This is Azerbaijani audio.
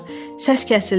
Səs kəsildi.